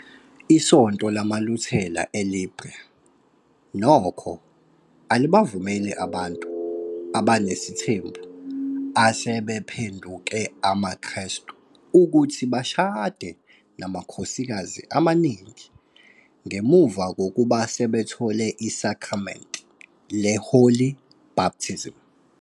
Isoonto LamaLuthela eLiberia, nokho, alibavumeli abantu abanesithembu asebephenduke amaKrestu ukuthi bashade namakhosikazi amaningi ngemuva kokuba sebethole isakramente le- Holy Baptism.